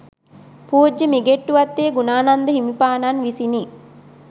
පූජ්‍ය මිගෙට්ටුවත්තේ ගුණානන්ද හිමිපාණන් විසිනි.